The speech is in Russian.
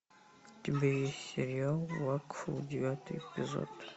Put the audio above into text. у тебя есть сериал вакфу девятый эпизод